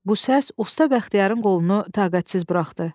Bu səs usta Bəxtiyarın qolunu taqətsiz bıraxdi.